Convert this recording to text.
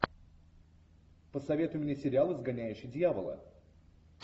посоветуй мне сериал изгоняющий дьявола